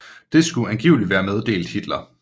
Det skulle angiveligt være meddelt Hitler